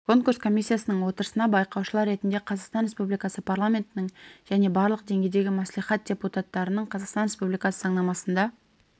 конкурс комиссиясының отырысына байқаушылар ретінде қазақстан республикасы парламентінің және барлық деңгейдегі мәслихат депутаттарының қазақстан республикасы заңнамасында